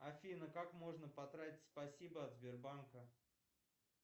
афина как можно потратить спасибо от сбербанка